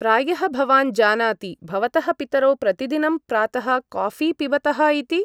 प्रायः भवान् जानाति भवतः पितरौ प्रतिदिनं प्रातः काफीं पिबतःइति?